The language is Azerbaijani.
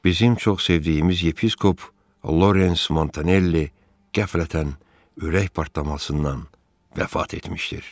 Bizim çox sevdiyimiz yepiskop Lawrence Montanelli qəflətən ürək partlamasından vəfat etmişdir.